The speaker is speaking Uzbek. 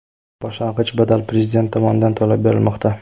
Boshlang‘ich badal Prezident tomonidan to‘lab berilmoqda.